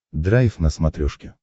драйв на смотрешке